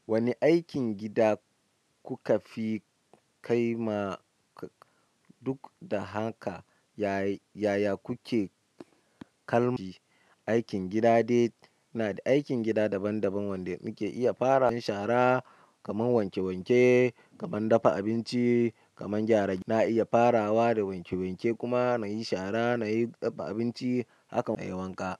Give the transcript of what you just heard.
Wane aikin gida kuka fi kaima? Duk da haka yaya kuke kallon aikin gida? Aikin gida daban-daban wanda muke iya farawa. Shara kamar wanke wanke, kamar dafa abinci, kamar gyara. Na iya farawa da wanke wanke kuma na yi shara, na yi dafa abinci. Haka ma na yi wanka.